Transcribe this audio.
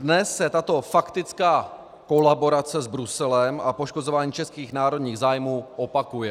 Dnes se tato faktická kolaborace s Bruselem a poškozování českých národních zájmů opakuje.